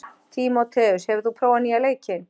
Tímoteus, hefur þú prófað nýja leikinn?